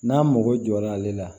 N'a mago jɔra ale la